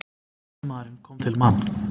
Miðjumaðurinn kom til Man.